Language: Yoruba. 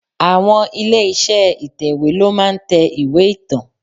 Àwọn ilé iṣẹ́ ìtẹ̀wè ló máa ń tẹ ìwé ìtàn.